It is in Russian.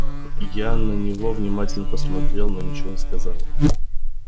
я на него внимательно посмотрел но ничего не сказал